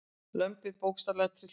Lömbin bókstaflega trylltust.